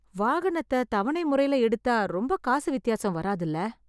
வாகனத்த தவண முறையில எடுத்த ரொம்ப காசு வித்தியாசம் வராதுல!